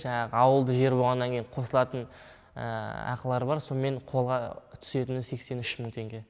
жаңағы ауылды жер болғаннан кейін қосылатын ақылары бар сонымен қолға түсетіні сексен үш мың теңге